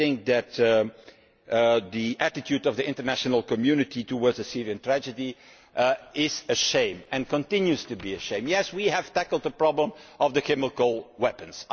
I think that the attitude of the international community towards the Syrian tragedy is shameful and continues to be shameful. Yes, we have tackled the problem of chemical weapons.